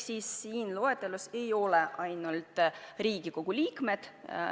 Selles loetelus ei ole ainult Riigikogu liikmed.